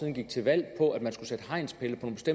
er vigtigt at